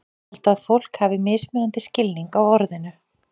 Held að fólk hafi mismunandi skilning á orðinu.